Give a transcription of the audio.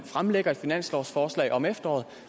fremlægger et finanslovsforslag om efteråret